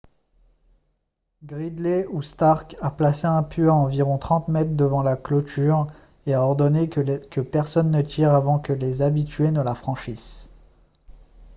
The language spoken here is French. gridley ou stark a placé un pieu à environ 30 mètres devant la clôture et a ordonné que personne ne tire avant que les habitués ne la franchissent